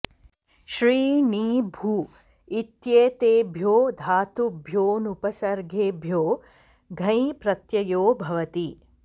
श्रि णी भू इत्येतेभ्यो धातुभ्यो ऽनुपसर्गेभ्यो घञ् प्रत्ययो भवति